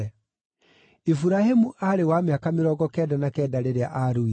Iburahĩmu aarĩ wa mĩaka mĩrongo kenda na kenda rĩrĩa aaruire,